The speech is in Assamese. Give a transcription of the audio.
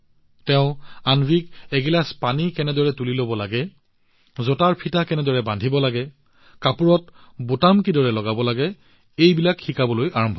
তেওঁলোকে অন্বীক এগিলাচ পানী কেনেদৰে তুলি লব লাগে জোতাৰ ফিতা কেনেদৰে বান্ধিব লাগে কাপোৰত বুটাম কেনেদৰে মাৰিব লাগে এই সৰু সৰু বস্তুবোৰ শিকাবলৈ আৰম্ভ কৰিলে